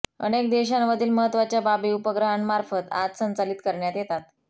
अनेक देशांमधील महत्त्वाच्या बाबी उपग्रहांमार्फत आज संचालित करण्यात येतात